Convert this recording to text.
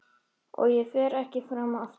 Og ég fer ekki fram aftur.